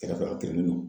Kɛrɛfɛ a kilen no